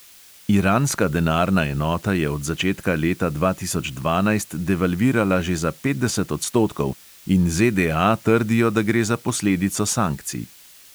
Iranska denarna enota je od začetka leta dva tisoč dvanajst devalvirala že za petdeset odstotkov in ZDA trdijo, da gre za posledico sankcij.